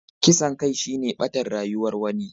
Kisan kai shine ɓatar rayuwar wani.